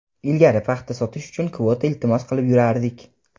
Ilgari paxta sotish uchun kvota iltimos qilib yurardik.